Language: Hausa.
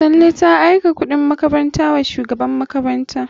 Tanle ta aika kuɗin makaranta wa shugaban makaranta.